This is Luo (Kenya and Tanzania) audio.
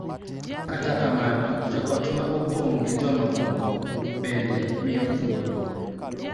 Kata kamano, joot ma opong� gi jomamoko bende miyo thuolo .